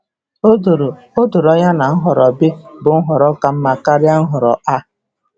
O doro O doro anya na nhọrọ B bụ nhọrọ ka mma karịa Nhọrọ A.